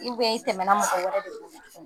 i tɛmɛna mɔgɔ wɛrɛ de bolo.